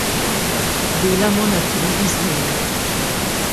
Delamo na tri izmene.